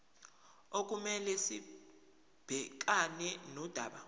okumele sibhekane nodaba